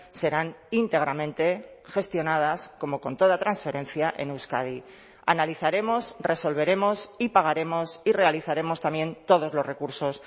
serán íntegramente gestionadas como con toda transferencia en euskadi analizaremos resolveremos y pagaremos y realizaremos también todos los recursos